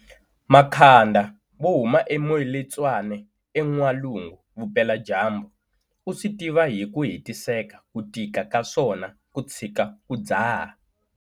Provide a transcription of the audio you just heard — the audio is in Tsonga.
Makhanda wo huma eMoiletswane eN'walungu-Vupeladyambu u swi tiva hi ku hetiseka ku tika ka swona ku tshika ku dzaha.